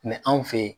anw fe yen